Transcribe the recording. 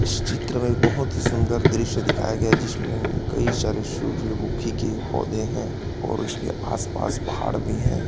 इस चित्र में बोहोत ही सुंदर दृश्य दिखाया गया है जिसमें कई सारे सूर्यमुखी के पौधे हैं और इसके आसपास पहाड़ भी हैं।